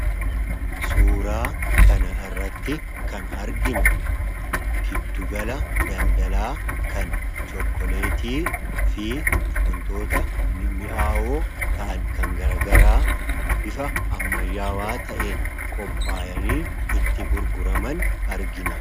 Suuraa kana irratti kan arginu giddugala daldalaa kan chokkoleetii fi wantoota mi'aawoo ta'an kan garagaraa bifa ammayyaawaa ta'een qophaa'anii itti gurguraman argina.